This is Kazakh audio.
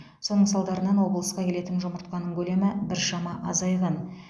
соның салдарынан облысқа келетін жұмыртқаның көлемі біршама азайған